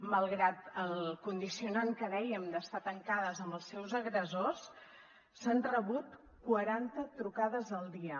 malgrat el condicionant que dèiem d’estar tancades amb els seus agressors s’han rebut quaranta trucades al dia